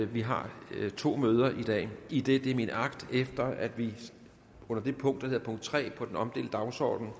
vi har to møder i dag idet det er min agt efter at vi under det punkt der hedder punkt tre på den omdelte dagsorden